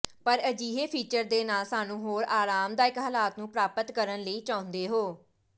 ਪਰ ਅਜਿਹੇ ਫੀਚਰ ਦੇ ਨਾਲ ਸਾਨੂੰ ਹੋਰ ਆਰਾਮਦਾਇਕ ਹਾਲਾਤ ਨੂੰ ਪ੍ਰਾਪਤ ਕਰਨ ਲਈ ਚਾਹੁੰਦੇ ਹੋ